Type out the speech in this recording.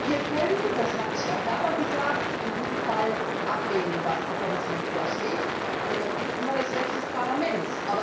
Wir können das hat Herr Ferber gesagt in diesem Fall ablehnen, was die Kommission vorschlägt, das ist immer das Recht des Parlaments.